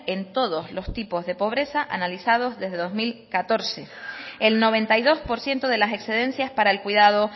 en todos los tipos de pobreza analizados desde dos mil catorce el noventa y dos por ciento de las excedencias para el cuidado